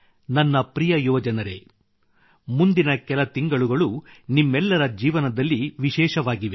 ನನ್ನ ಪ್ರಿಯ ಯುವಜನರೆ ಮುಂದಿನ ಕೆಲ ತಿಂಗಳುಗಳು ನಿಮ್ಮೆಲ್ಲರ ಜೀವನದಲ್ಲಿ ವಿಶೇಷವಾಗಿವೆ